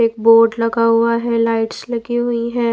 एक बोर्ड लगा हुआ है लाइट्स लगी हुई है।